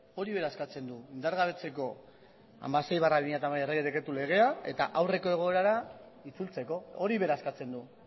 hori bera eskatzen du indargabetzeko hamasei barra bi mila hamabi errege dekretu legea eta aurreko egoerara itzultzeko hori bera eskatzen du